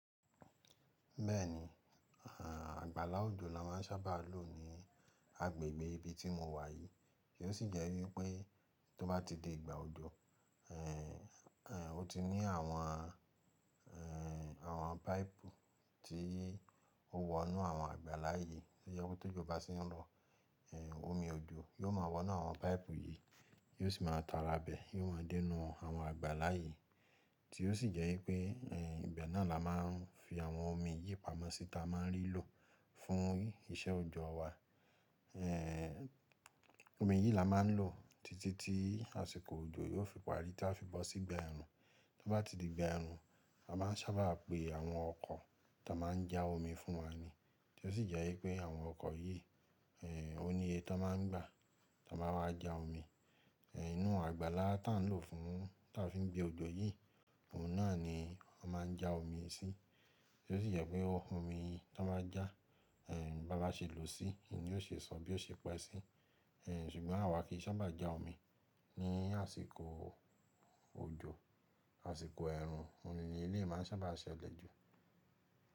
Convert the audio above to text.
Bẹ́ẹ̀ ni, àgbàlá òjò la ma ń sábà lò ní agbègbè ibi tí mo wà yìí. Kí ò sí jẹ́ wípẹ́ tó bá ti dé ìgbà òjò, o ti ní àwọn, àwọn páìpù tí ó wọnú àwọn àgbàlá yìí. Ó yẹ kó tó jù bá sí ń lọ, omi òjò yóò máa wọnú àwọn páìpù yìí, yóò sì máa ta rà bẹ, yóò ma dẹ́nu àwọn àgbàlá yìí tí ó sì jẹ́ wípẹ́ ibẹ̀ náà la máa ń fi àwọn omi yìí pamọ́ sí ta máa ń rí lò fún iṣẹ́ òjọ̀ wa. Omí yìí la máa ń lò títí tí àsìkò òjò yóò fi parí tí a fi bọ́ sí ìgbà ẹ̀rùn. Tó bá ti di ìgbà ẹ̀rùn, a máa ń sábà pe àwọn ọkọ̀ tó máa ń já omi fún wá ní. Kí ò sì jẹ́ wípẹ́ àwọn ọkọ̀ yìí, ó níye tó máa ń gbà tó máa wá já omi. Ìnú àgbàlá tí à ń lò fún, tí a fi ń gbé òjò yìí, òun náà ni a máa ń já omi sí. Kí ò sì jẹ́ pé omi tí wọ́n bá já, bá láṣẹ lò ó sí, kíní yóò ṣe sọ, bí ó ṣe pẹ́ sí. Ṣùgbọ́n àwa kì í sábà já omi ní àsìkò òjò, àsìkò ẹ̀rùn, omi ni ilé máa ń sábà ṣe lẹ́jù.